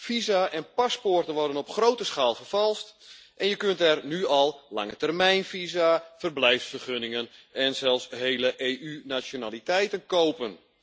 Visa en paspoorten worden op grote schaal vervalst en je kunt er nu al langetermijnvisa, verblijfsvergunningen en zelfs hele EU nationaliteiten kopen.